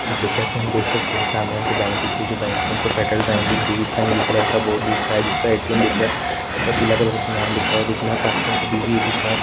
जैसा की हम देख सकते है सामने हमको बैंक दिख रही है जो बैंक हमको वो फेड्रल बैंक दिख रही है जिसका नीले कलर का बोर्ड दिख रहा है जिसका ए.टी.एम दिख रहा है जिसका पीला कलर से नाम लिखा हुआ दिखना पास मे एक बी.बी.ए बी.कॉम--